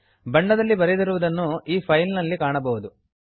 ಬಣ್ಣದಲ್ಲಿ ಬರೆದಿರುವುದನ್ನು ನೀವು ಈ ಫೈಲ್ ನಲ್ಲಿ ಕಾಣಬಹುದು